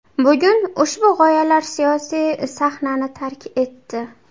Bugun ushbu g‘oyalar siyosiy sahnani tark etdi.